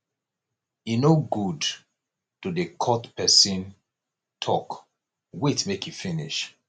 e no good to dey cut pesin tok wait make e finish